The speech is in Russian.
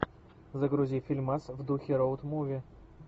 загрузи фильмас в духе роуд муви